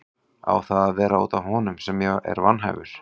Á það að vera út af honum sem ég er vanhæfur?